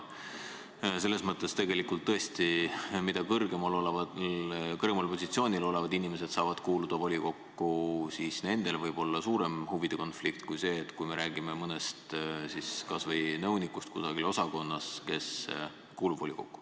Selles mõttes tõesti, kui kõrgemal positsioonil olevad inimesed saavad kuuluda volikokku, siis nendel võib olla suurem huvide konflikt kui siis, kui me räägime mõnest kas või nõunikust kusagil osakonnas, kes kuulub volikokku.